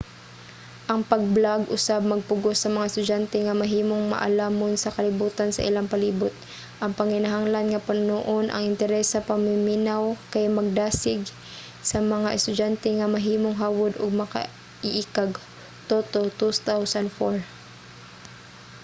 ang pag-blog usab magpugos sa mga estudyante nga mahimong maalamon sa kalibutan sa ilang palibut. ang panginahanglan nga punuon ang interes sa mamiminaw kay magdasig sa mga estudyante nga mahimong hawod ug makaiikag toto 2004